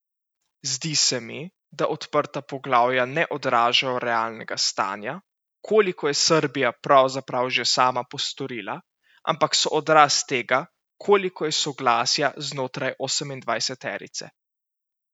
Zdi se mi, da odprta poglavja ne odražajo realnega stanja, koliko je Srbija pravzaprav že sama postorila, ampak so odraz tega, koliko je soglasja znotraj osemindvajseterice.